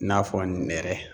I n'a fɔ nɛrɛ